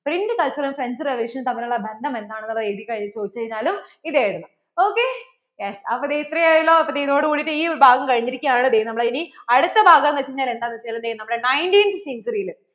Print culture ഉം French revolution നും തമ്മിൽ ഉള്ള ബന്ധം എന്താണ് എഴുതി ചോദിച്ചു കഴിഞ്ഞാലും ഇത് എഴുതണം okyes അപ്പോൾ ദേ ഇത്രയും ആയല്ലോ അപ്പോൾ ദേ ഇതോടെ കൂടെ ഈ ഭാഗം കഴിഞ്ഞിരിക്കുകയാണ് ദേ നമ്മളെ ഇനി അടുത്ത ഭാഗം വെച്ച് കഴിഞ്ഞാൽ എന്താണ് വെച്ച് കഴിഞ്ഞാൽ ദേ നമ്മടെ nineteenth century ൽ